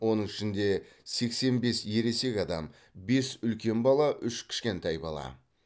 оның ішінде сексен бес ересек адам бес үлкен бала үш кішкентай бала